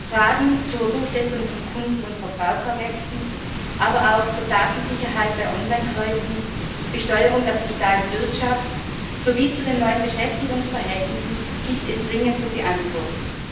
Fragen zur Durchsetzung von Kunden und Verbraucherrechten, aber auch zur Datensicherheit bei Online Käufen, zur Besteuerung der digitalen Wirtschaft sowie zu den neuen Beschäftigungsverhältnissen gilt ist dringend zu beantworten.